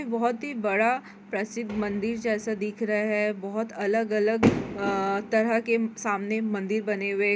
बोहोत ही बड़ा प्रसिद्ध मंदिर जैसा दिख रहा है बहोत अलग-अलग अ तरह के सामने मंदिर बने हुए--